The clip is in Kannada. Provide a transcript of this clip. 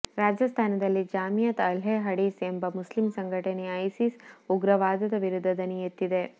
ರಾಜಸ್ತಾನದಲ್ಲಿ ಜಾಮಿಯತ್ ಅಹ್ಲೇ ಹಡೀಸ್ ಎಂಬ ಮುಸ್ಲಿಂ ಸಂಘಟನೆ ಇಸಿಸ್ ಉಗ್ರವಾದದ ವಿರುದ್ಧ ದನಿಯೆತ್ತಿದೆ